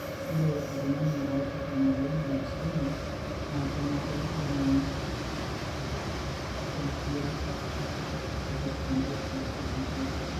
ore oltungani oata emoyian e Alzheimers na kenare neim enygiyasata ipirta entoki natejoki.